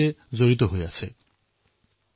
এই সকলোবোৰ অভিনন্দনৰ পাত্ৰ